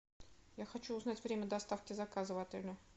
я хочу узнать время доставки заказа в отеле